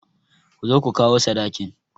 Ku zo ku kawo sadakin!